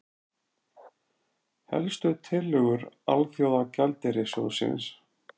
Helstu tillögur Alþjóðagjaldeyrissjóðsins